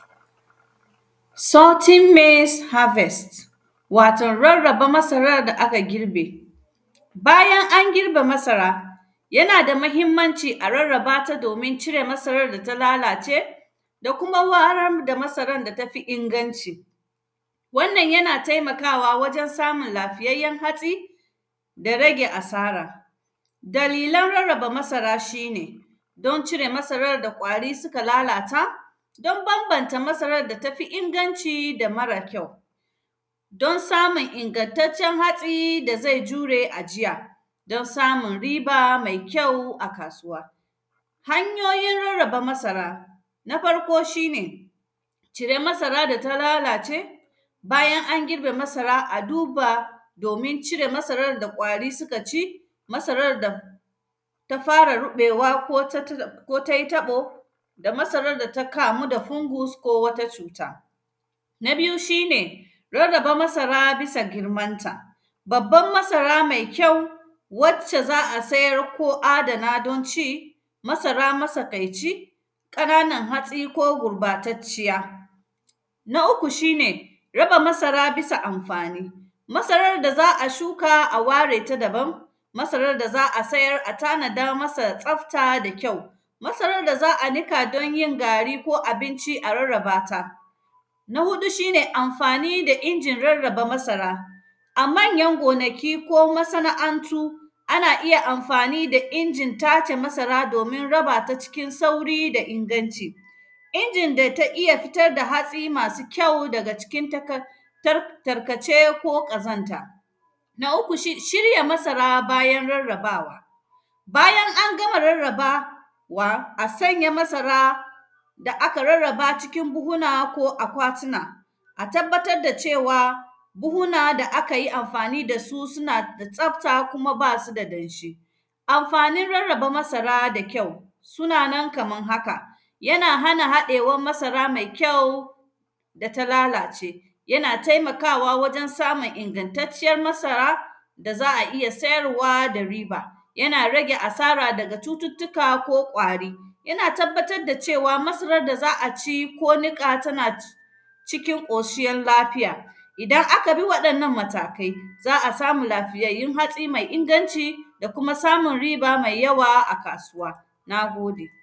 “Sorting maize harvest”, wato rarraba masarar da aka girbe. Bayan an girbe masara, yana da mahimmanci a rarraba ta domin cire masarar da ta lalace da kuam waran da masaran da ta fi inganci. Wannan, yana temakawa wajen samun lafiyayyen hatsi da rage asara. Dalilan rarraba masara, shi ne don cire masarar da ƙwari sika lalata, don bambanta masarar da ta fi inganci da mara kyau, don samun ingantaccen hatsi da ze jure ajiya, don samun riba me kyau a kasuwa. Hanyoyin rarraba masara, na farko, shi ne cire masara da ta lalace, bayan an girbe masara, a duba domin cire masarar da ƙwari sika ci, masarar da ta fara ruƃewa ko tatgan; ko tai taƃo da masarar da ta kamu da kumbus ko wata cuta. Na biyu, shi ne rarraba masara bisa girmanta, babban masara mai kyau, wacce za a sayar ko adana don ci, masara masakaici, ƙananan hasi ko gurbatacciya. Na uku, shi ne raba masara bisa amfani, masarar da za a shuka, a ware ta daban, masarar da za a sayar a tanada masa tsafta da kyau. Masarar da za a nika don yin gari ko abinci, a rarraba ta. Na huɗu, shi ne amfani da injin rarraba masara, a manyan gonaki ko masana’antu, ana iya amfani da injin tace masara domin raba ta cikin sauri da inganci. Injin da ta iya fitar da hatsi masu kyau daga cikin takak; tar; tarkace ko ƙazanta. Na uku, shish; shirya masara bayan rarrabawa, bayan an gama rarrabawa, a sanya masara da aka rarraba cikin buhuna ko akwatina. A tabbatad da cewa, buhuna da aka yi amfani da su, suna da tsafta kuma ba su da danshi. Amfanin rarraba masara da kyau, suna na kaman haka, yana hana haɗewan masara mai kyau da ta lalace. Yana temakawa wajen samun ingantacciyan masara da za a iya sayarwa da riba. Yana rage asara daga cututtuka ko ƙwari. Yana tabbatad da cewa, masarad da za a ci ko niƙa tana c; cikin ƙosuyan lafiya. Idan aka bi waɗannan matakai, za a samun lafiyayyun hatsi mai inganci da kuma samun riba mai yawa a kasuwa, na gode.